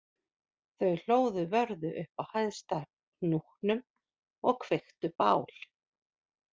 Þau hlóðu vörðu upp á hæsta hnúknum og kveiktu bál